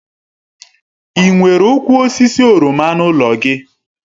Ị nwere ụkwụ osisi oroma n'ụlọ gị?